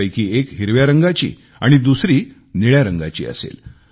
त्यापैकी एक हिरव्या रंगाची व दुसरी निळ्या रंगाची असेल